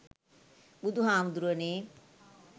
බුදු හාමුදුරුවනේ